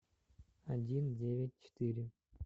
один девять четыре